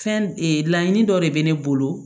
Fɛn laɲini dɔ de bɛ ne bolo